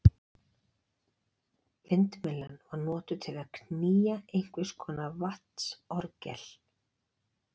Vindmyllan var notuð til að knýja einhvers konar vatnsorgel.